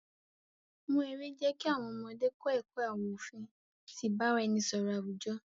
Wọn èrè jẹ̀ kí àwọn ọ̀mọdé kọ̀ ẹkọ̀ àwọn ofin ti ìbàráẹ̀nisọ̀rọ̀ awujo.